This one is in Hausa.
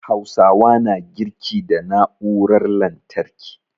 Hausawa na girki da na'urar lantarki